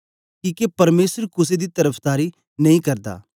किके परमेसर कुसे दी तरफदारी नेई करदा